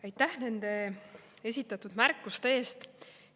Aitäh nende esitatud märkuste eest!